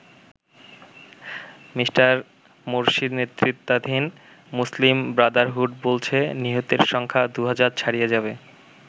Me. মোরসির নেতৃত্বাধীন Muslim Brotherhood বলছে নিহতের সংখ্যা দু'হাজার ছাড়িয়ে যাবে।